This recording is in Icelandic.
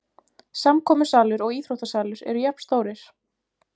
Samkomusalur og íþróttasalur eru jafnstórir